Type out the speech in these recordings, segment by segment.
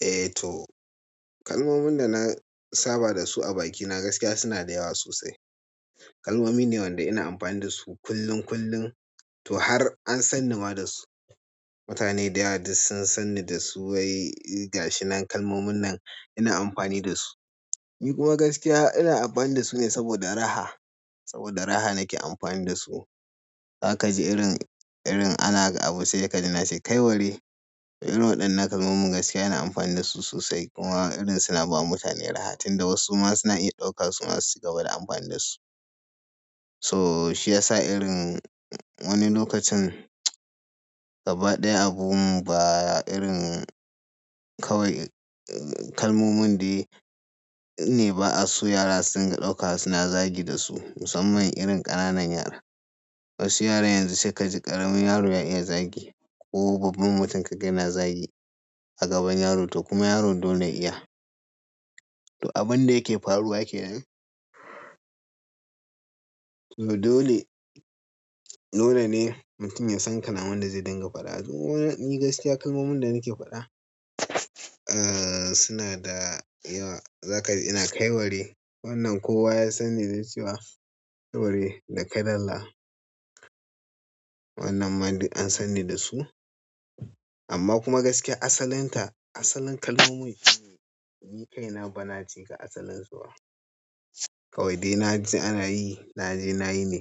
Eh. To kalmomin da na saba da su a bakina gaskiya suna da yawa sosai. Kalmomi ne wanda ina amfani da su kullum kullum to har an san ni ma dasu. Mutane da yawa duk sun sanni da su wai gashi nan kalmomin nan ina amfani da su. Ni kuma gaskiya ina amfani da su ne saboda raha, saboda raha nake amfani da su. Za ka ji irin, irin ana ga abu sai ka ji na ce "Kai ware!". Irin waɗannan kalmomin gaskiya ina amfani da su sosai kuma irin suna ba mutane raha, tunda wasu ma suna iya ɗauka su ma su cigaba da amfani da su. To shi yasa irin wani lokacin mtsew. Gaba ɗaya abun ba irin kawai kalmomin dai ne ba a so yara su dinga ɗauka suna zagi da su, musamman irin ƙananan yara. Wasu yara yanzu sai ka ji ƙaramin yaro ya iya zagi ko babban mutum kaga yana zagi a gaban yaro to kuma yaro dole ya iya. To abin da yake faruwa kenan. To dole, dole ne mutum ya san kalamun da zai dinga faɗa. To ni gaskiya kalmomin da nake faɗa, ah suna da yawa. Za ka ji ina "Kaiware", wannan kowa ya sanni da cewa "Kaiware" da "Kai dalla", wannan ma duk an sanni da su. Amma kuma gaskiya asalinta, asalin kalmomin ni kaina bana ce ga asalinsu ba. Kawai dai na ji ana yi, na je nayi ne.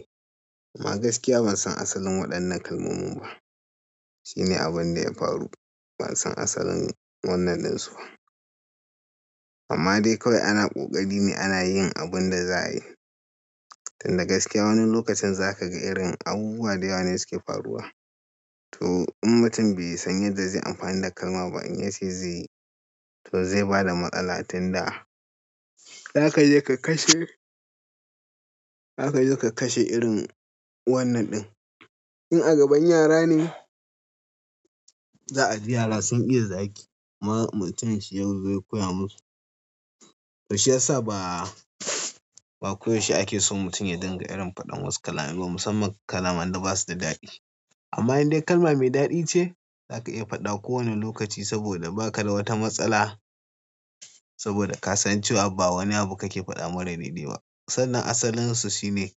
Amma gaskiya ban san asalin waɗannan kalmomin ba. Shine abin da ya faru. Ban san asalin wannan ɗin su ba. Amma dai kawai ana ƙoƙari ne ana yin abin da za a yi. Tunda gaskiya wani lokacin za ka ga irin abubuwa da yawa ne suke faruwa. To in mutum bai san yadda zai amfani da kalma ba in ya ce zai yi, to zai bada matsala. Tunda za ka je ka kashe. Za ka je ka kashe irin wannan ɗin. In a gaban yara ne, za a ji yara sun iya zagi. Mutum shi yazo ya koya musu. To shiyasa ba. Ba koyaushe ake son mutum ya dinga irin faɗin wasu kalamai ba, musamman kalaman da basu da daɗi. Amma in dai kalma mai daɗi ce, za ka iya faɗa kowane lokaci saboda ba ka da wata matsala. Saboda ka san cewa ba wani abu kake faɗa mara daidai ba. Sannan asalinsu shine,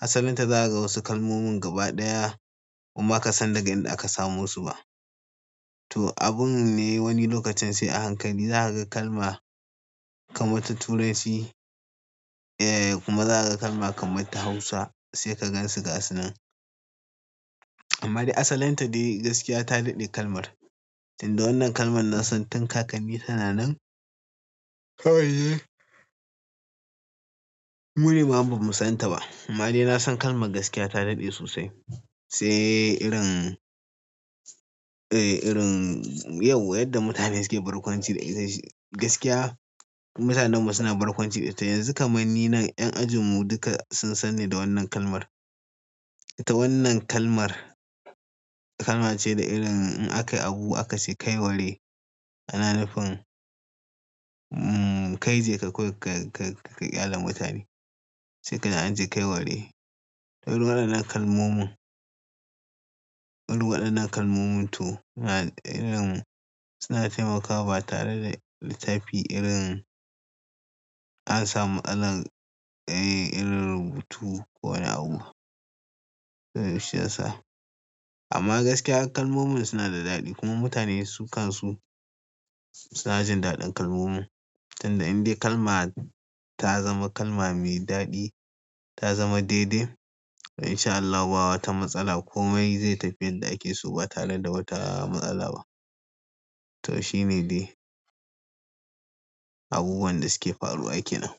asalinta za ka ga wasu kalmomin gaba ɗaya. Kuma baka san daga inda aka samo su ba. To abun ne wani lokacin sai a hankali za ka ga kalma kamar ta Turanci, eh kuma za ka ga kalma kamar ta Hausa sai ka gan su gasu nan. Amma dai asalinta dai gaskiya ta daɗe kalmar. Tunda wannan kalmar na san tun kakanni suna nan. Kawai mu ne ma bamu san ta ba. Amma dai na san kalmar gaskiya ta daɗe sosai. Sai irin eh irin yauwa yadda mutane suke barkwanci da ita gaskiya. Mutanen mu suna barkwanci da ita. Yanzu kaman ni nan 'yan ajin mu duka sun san ni da wannan kalmar. To wannan kalmar, kalma ce da irin in aka yi abu aka ce "Kaiware", ana nufin kai je ka kawai ka, ka, ka ƙyale mutane. Sai kaji an ce "Kaiware". To irin waɗannan kalmomin, irin waɗannan kalmomin to suna irin suna taimakawa tare da littafi irin an samu aran irin rubutu ko wani abu. To shiyasa. Amma gaskiya kalmomin suna da daɗi kuma mutane su kan su, su suna jin daɗin kalmomin. Tunda in dai kalma ta zama kalma mai daɗi, ta zama daidai in sha Allahu ba wata matsala komai zai tafi yadda ake so ba tare da wata matsala ba. To shine dai abubuwan da suke faruwa ake nan.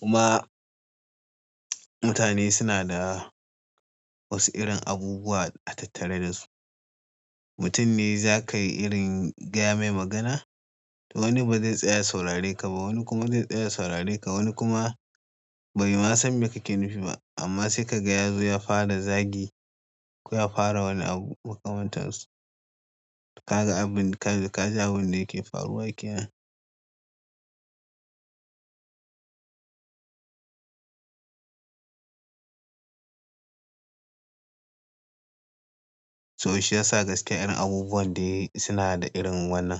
Kuma mutane suna da wasu irin abubuwa a tattare da su. Mutum ne za ka yi irin gaya mai magana, to wani ba zai tsaya ya sauraye ka ba, wani kuma zai tsaya ya sauraye ka, wani kuma. Bai ma san me kake nufi ba. Amma sai kaga yazo ya fara zagi, ko ya fara wani abu makamantansu. Ka ga abin ka, ka ji abin da yake faruwa kenan. To shiyasa gaskiya irin abubuwan dai suna da irin wannan.